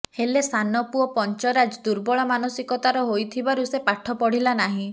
ହେଲେ ସାନ ପୁଅ ପଞ୍ଚରାଜ ଦୁର୍ବଳମାନସିକତାର ହୋଇଥିବାରୁ ସେ ପାଠ ପଢ଼ିଲା ନାହିଁ